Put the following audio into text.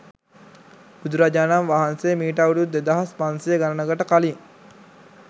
බුදුරජාණන් වහන්සේ මීට අවුරුදු දෙදහස් පන්සිය ගණනකට කලින්